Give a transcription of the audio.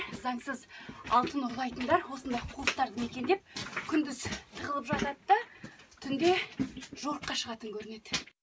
заңсыз алтын ұрлайтындар осында қуыстарды мекендеп күндіз тығылып жатады да түнде жорыққа шығатын көрінеді